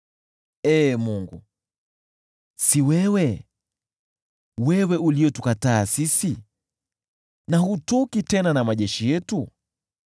Ee Mungu, si ni wewe uliyetukataa sisi, na hutoki tena na majeshi yetu?